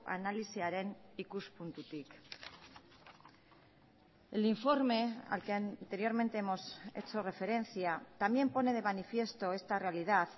analisiaren ikuspuntutik el informe al que anteriormente hemos hecho referencia también pone de manifiesto esta realidad